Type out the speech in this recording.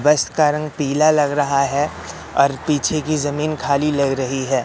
बस का रंग पीला लग रहा है और पीछे की जमीन खाली लग रही है।